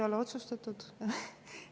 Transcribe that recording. Ei ole otsustatud.